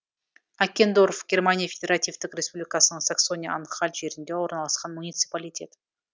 аккендорф германия федеративтік республикасының саксония анхальт жерінде орналасқан муниципалитет